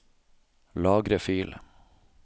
Lagre fil